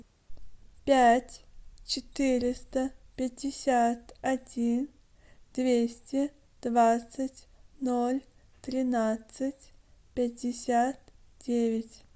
пять четыреста пятьдесят один двести двадцать ноль тринадцать пятьдесят девять